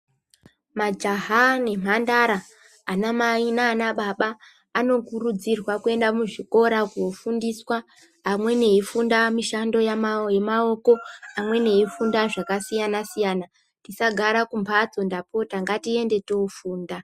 Majaha nemhandara anamai naanababa anokurudzirwa kuenda muzvikora koofundiswa. Amweni eifunda mishando yemaoko, amweni eifunda zvakasiyana-siyana. Tisagara kumbatso ndapota, ngatiende toofunda.